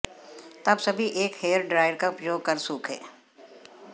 तब सभी एक हेयर ड्रायर का उपयोग कर सूखे